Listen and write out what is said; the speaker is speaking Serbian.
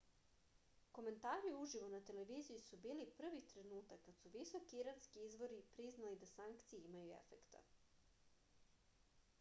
komentari uživo na televiziji su bili prvi trenutak kad su visoki iranski izvori priznali da sankcije imaju efekta